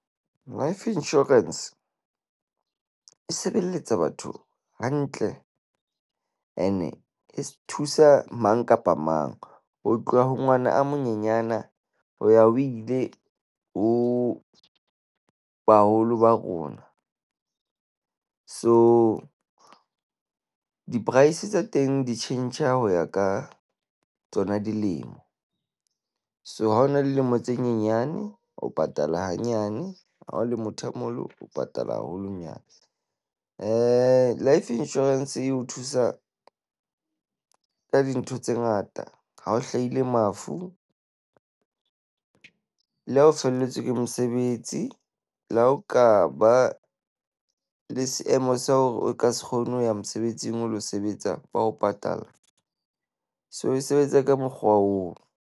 Life insurance e sebeletsa batho hantle ene e thusa mang kapa mang. Ho tloha ho ngwana a monyenyana ho ya ho ile ho baholo ba rona. So, di-price tsa teng di tjhentjha ho ya ka tsona dilemo. So, ha o na le dilemo tse nyenyane. O patala hanyane. Ha o le motho a moholo, o patala haholonyana. Life insurance e o thusa ka dintho tse ngata hao hlaile mafu le ha o felletswe ke mosebetsi. Le ha o ka ba le seemo sa hore o ka se kgone ho ya mosebetsing, o lo sebetsa ba o patalla. So, e sebetsa ka mokgwa oo.